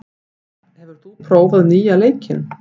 Ásar, hefur þú prófað nýja leikinn?